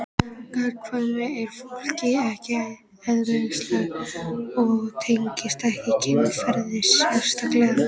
Gagnkvæmni er fólki ekki eðlislæg og tengist ekki kynferði sérstaklega.